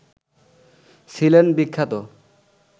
ছিলেন বিখ্যাত